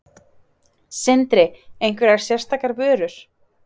Sindri: Einhverjar sérstakar vörur?